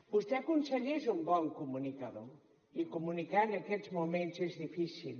vostè conseller és un bon comunicador i comunicar en aquests moments és difícil